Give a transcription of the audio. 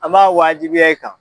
An b'a wajibiya i kan.